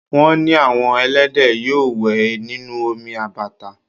Wọ́n ní àwọn ẹlẹ́dẹ̀ yóò wẹ̀ nínú omi àbàtà